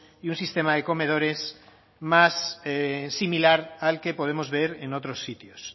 y un sistema de comedores más similar al que podemos ver en otros sitios